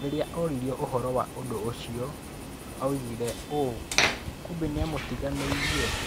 Rĩrĩa oririo ũhoro wa ũndũ ũcio , oigire ũũ: " Kibe nĩamũtiganĩirie."